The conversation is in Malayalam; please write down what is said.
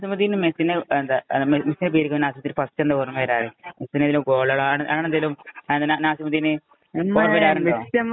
നാസിമുദ്ദീന് മെസ്സീനെ മെസ്സീന്‍റെ ഫസ്സ് എന്താ ഓര്‍മ്മവരാറ്, ഗോളുകള്‍ അങ്ങനെയെന്തെങ്കിലും നാസിമുദ്ദീന് ഓര്‍മ്മ വരാറുണ്ടോ?